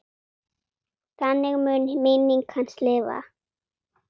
Þannig mun minning hans lifa.